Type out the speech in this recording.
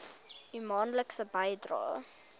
u maandelikse bydraes